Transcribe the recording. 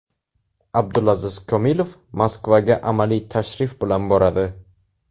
Abdulaziz Komilov Moskvaga amaliy tashrif bilan boradi.